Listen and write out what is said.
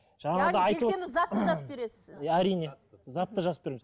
әрине затты жазып береміз